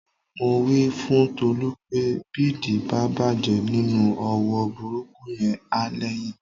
Mo wí fún Tolú pé bídìí bá bàjẹ́ nínú òwò burúkú yẹn, á lẹ́yìn